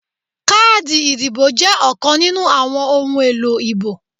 Káàdì ìdìbò jẹ́ ọ̀kan nínú àwọn ohun èlò ìbò